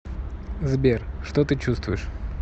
сбер что ты чувствуешь